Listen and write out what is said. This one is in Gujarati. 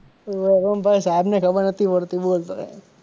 હોવે ઓમ ભાઈ સાહેબ ને ખબર નતી પડતી